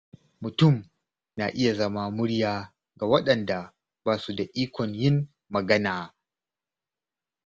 Mutum na iya zama murya ga waɗanda ba su da ikon yin magana.